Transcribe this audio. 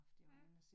Ja